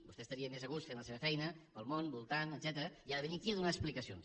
vostè estaria més a gust fent la seva feina pel món voltant etcètera i ha de venir aquí a donar explicacions